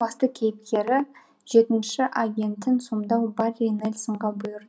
басты кейіпкері жетінші агентін сомдау барри нельсонға бұйыр